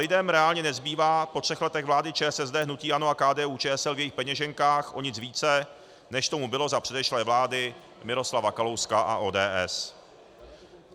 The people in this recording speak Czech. Lidem reálně nezbývá po třech letech vlády ČSSD, hnutí ANO a KDU-ČSL v jejich peněženkách o nic více, než tomu bylo za předešlé vlády Miroslava Kalouska a ODS.